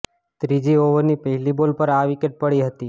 ત્રીજી ઓવરની પહેલી બોલ પર આ વિકેટ પડી હતી